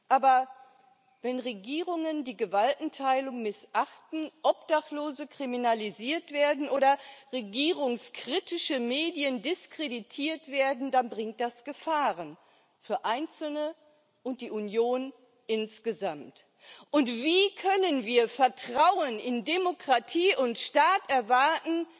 Aber wenn Regierungen die Gewaltenteilung missachten, Obdachlose kriminalisiert werden oder regierungskritische Medien diskreditiert werden, dann bringt das Gefahren für Einzelne und die Union insgesamt. Wie können wir Vertrauen in Demokratie und Staat erwarten,